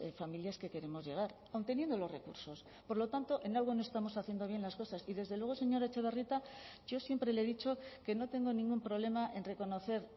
familias que queremos llegar aun teniendo los recursos por lo tanto en algo no estamos haciendo bien las cosas y desde luego señora etxebarrieta yo siempre le he dicho que no tengo ningún problema en reconocer